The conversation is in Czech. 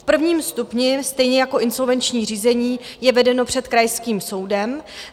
V prvním stupni, stejně jako insolvenční řízení, je vedeno před krajským soudem.